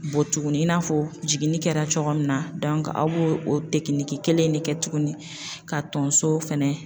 Bɔ tuguni i n'a fɔ jiginni kɛra cogo min na aw b'o o kelen de kɛ tuguni ka tonso fɛnɛ